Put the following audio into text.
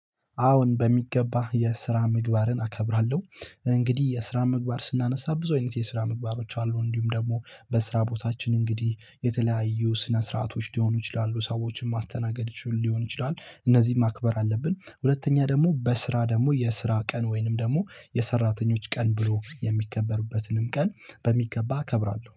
አዎን በሚገባ የስራ ምግባርን አከብራለው እንግዲህ የስራ ምግባር ስናነሳ ብዙ አይነት የስራ ምግባሮች አሉ እንዲሁም ደግሞ በስራ ቦታችን እንግዲህ የተለያዩ ስነ ስርዓቶች ሊሆኑ ይችላሉ ሰዎችን ማስተናገድ ሊሆን ይችላል እነዚህን ማክበር አለብን። ሁለተኛ ደግሞ በስራ ደግሞ የስራ ቀን ወይም ደግሞ የሰራተኞች ቀን ብሎ የሚከበርበትንም ቀን በሚገባ እከብራለው።